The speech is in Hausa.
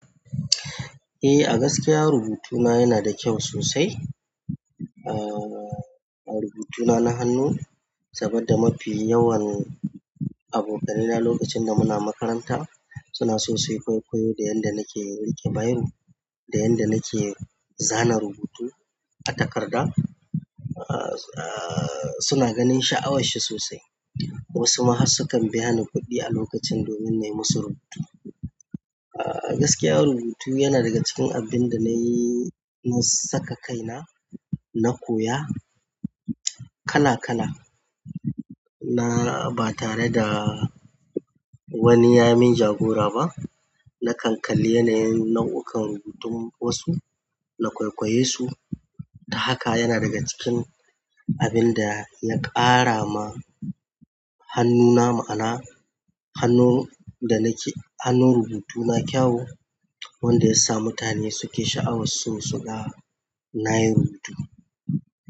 Eh, a gaskiya rubutuna yana da kyau sosai. Ah, rubutuna na hannu, saboda mafi yawan abokanai na lokacin da muna makaranta, suna so su kwaikwayo da yanda nake riƙe biro, da yanda nake zana rubutu a takarda. Ah, ah suna ganin sha'awarshi sosai. Wasu ma har sukan biya ni kuɗi a lokacin domin na yi musu rubutu. Ah gaskiya rubutu yana daga cikin abin da nayi na, saka kaina na koya kala-kala. Na ba tare da wani ya min jagora ba. Na kan kalli yana yin nau'ukan rubutun wasu, na kwaikwaye su. Ta haka yana daga cikin abin da ya ƙara ma hannuna ma'ana. Hannun da nake, hannun rubutu na kyau, wanda ya sa mutane suke sha'awar su, su ga nayi rubutu.